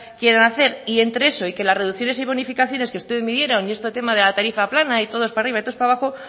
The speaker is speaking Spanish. quieran hacer y entre eso y que las reducciones y bonificaciones que ustedes midieron y este tema de la tarifa plana y todos para arriba y todos para abajo